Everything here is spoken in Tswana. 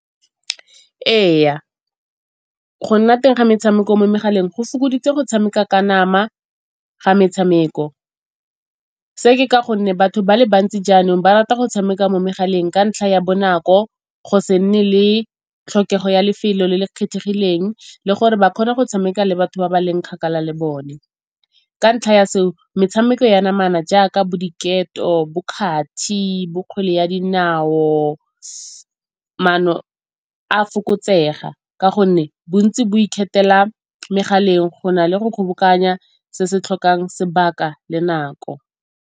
Ee, go nna teng ga metshameko mo megaleng go fokoditse go tshameka ka nama ga metshameko. Se ke ka gonne batho ba le bantsi jaanong ba rata go tshameka mo megaleng ka ntlha ya bonako, go se nne le tlhokego ya lefelo le le kgethegileng le gore ba kgone go tshameka le batho ba ba leng kgakala le bone. Ka ntlha ya se o metshameko ya namana jaaka bo diketo, bo kgathi, bo kgwele ya dinao, maano a fokotsega ka gonne bontsi bo ikgethela megaleng go na le go kgobokanya se se tlhokang sebaka le nako.